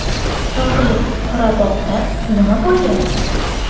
Tog‘li Qorabog‘da nima bo‘lyapti?